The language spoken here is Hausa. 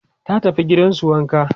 ta tafi gidansu wanka